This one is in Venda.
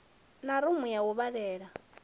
na rumu ya u vhalela